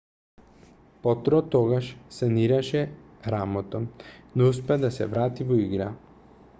потро тогаш санираше рамото но успеа да се врати во игра